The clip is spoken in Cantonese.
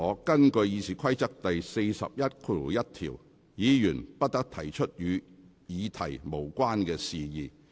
根據《議事規則》第411條，議員不得提出與議題無關的事宜。